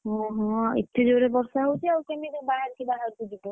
ଓହୋ! ଏତେ ଜୋରେ ବର୍ଷା ହଉଛି ଆଉ କେମିତି ବାହାରକୁ ଯିବ?